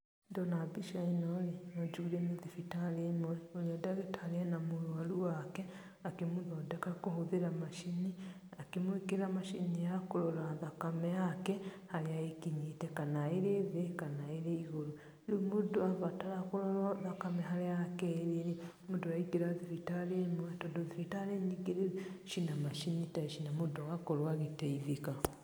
Ndona mbica ĩno ĩ no njugire nĩ thibitarĩ ĩmwe na ndagĩtarĩ arĩ na mũrũaru wake akĩmũthondeka kũhũthĩra macini, akĩmwĩkĩra macini ya kũrora thakame yake harĩa ĩkinyĩte, kana ĩrĩ thĩ kana ĩrĩ igũrũ. Rĩu mũndũ abatara kũrworwo harĩa thakame yake ĩrĩ rĩ, mũndũ araingĩra thiritarĩ ĩmwe tondũ thibitarĩ nyingĩ rĩ, cina macini ta ici na mũndũ agakorwo agĩteithĩka.